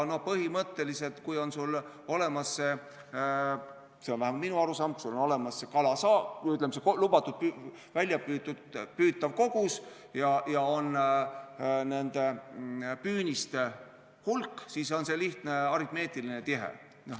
Põhimõtteliselt, kui sul on olemas lubatud väljapüütav kogus ja püüniste hulk, siis on see lihtne aritmeetiline tehe.